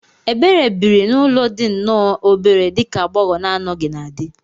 Ebere biri n'ụlọ dị nnọọ obere dị ka agbogho na anoghi na di